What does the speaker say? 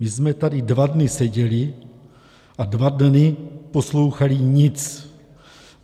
My jsme tady dva dny seděli a dva dny poslouchali nic.